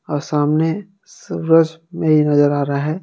और सामने सूरज नहीं नजर आ रहा है।